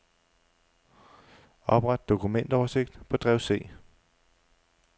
Opret dokumentoversigt på drev C.